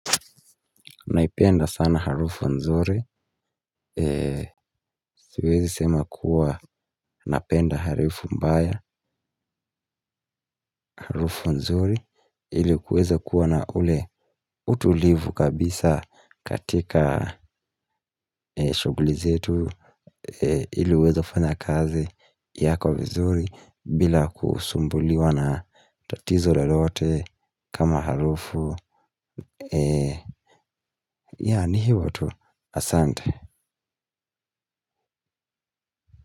Naipenda sana harufu nzuri. Siwezi sema kuwa napenda harufu mbaya. Harufu nzuri. Ili kuweza kuwa na ule utulivu kabisa katika shuguli zetu ili uweze kufanya kazi yako vizuri bila kusumbuliwa na tatizo lolote kama harufu ya ni hivo tu asante.